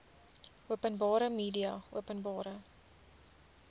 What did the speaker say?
openbare media openbare